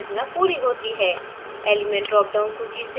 अब aniline की संरचना पूरी होती है